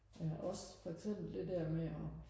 ja også for eksempel det der med og